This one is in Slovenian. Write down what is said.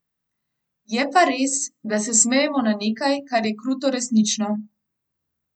Je pa res, da se smejemo na nekaj, kar je kruto resnično.